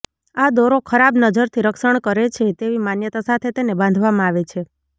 આ દોરો ખરાબ નજરથી રક્ષણ કરે છે તેવી માન્યતા સાથે તેને બાંધવામાં આવે છે